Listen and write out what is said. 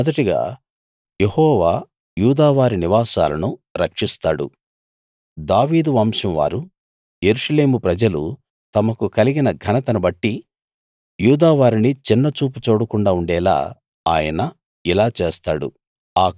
మొదటగా యెహోవా యూదావారి నివాసాలను రక్షిస్తాడు దావీదు వంశంవారు యెరూషలేము ప్రజలు తమకు కలిగిన ఘనతను బట్టి యూదావారిని చిన్నచూపు చూడకుండా ఉండేలా ఆయన ఇలా చేస్తాడు